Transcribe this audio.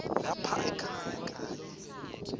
lapha ekhaya kanye